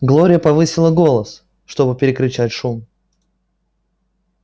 глория повысила голос чтобы перекричать шум